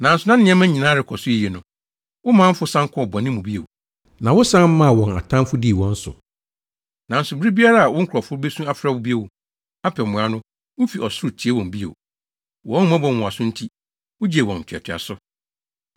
“Nanso na nneɛma nyinaa rekɔ so yiye no, wo manfo san kɔɔ bɔne mu bio, na wosan maa wɔn atamfo dii wɔn so. Nanso bere biara a wo nkurɔfo besu afrɛ wo bio, apɛ mmoa no, wufi ɔsoro tiee wɔn bio. Wʼahummɔbɔ nwonwaso nti, wugyee wɔn ntoatoaso.